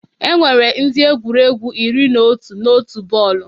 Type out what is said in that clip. Enwere ndị egwuregwu iri na otu na otu bọọlụ